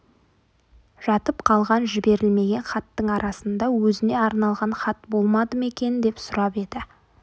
жатып қалған жіберілмеген хаттың арасында өзіне арналған хат болмады ма екен деп сұрап еді